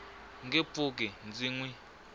nge pfuki ndzi n wi